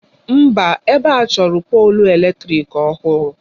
Mba, ebe a chọrọ polụ eletrịk ọhụrụ.